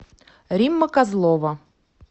римма козлова